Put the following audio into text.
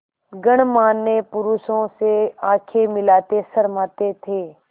गणमान्य पुरुषों से आँखें मिलाते शर्माते थे